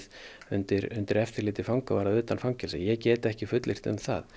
undir undir eftirliti fangavarða utan fangelsis ég get ekki fullyrt um það